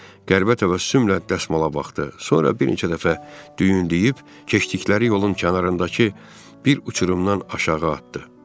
Qəribə təvəccühlə dəsmala baxdı, sonra bir neçə dəfə düyünləyib keçdikləri yolun kənarındakı bir uçurumdan aşağı atdı.